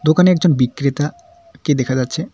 দোকানে একজন বিক্রেতা কে দেখা যাচ্ছে।